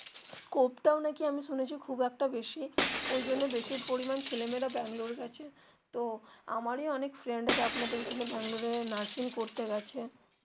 scope টাও নাকি আমি শুনেছি খুব একটা বেশি ঐজন্য বেশি পরিমান ছেলে মেয়ে রা ব্যাঙ্গালোর যাচ্ছে তো আমারি অনেক friend আছে আপনাদের ঐখানে ব্যাঙ্গালোরে nursing করতে গেছে.